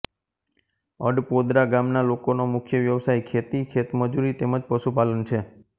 અડપોદરા ગામના લોકોનો મુખ્ય વ્યવસાય ખેતી ખેતમજૂરી તેમ જ પશુપાલન છે